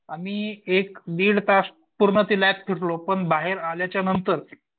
आम्ही एक दीड तास पूर्ण ती लॅब फिरलो पन पण बाहेर आल्याच्या नंतर